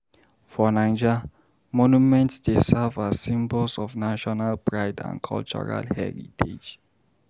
For Naija, monuments dey serve as symbols of national pride and cultural heritage.